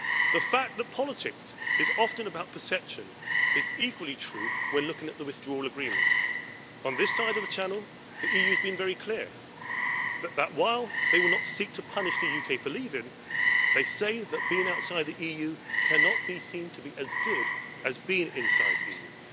The fact that politics is often about perception is equally true when looking at the withdrawal agreement. On this side of the Channel, the EU has been very clear while they would not seek to punish the UK for leaving, they say that being outside the EU cannot be seen to be as good as being inside the EU.